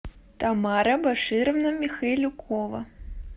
тамара башировна михайлюкова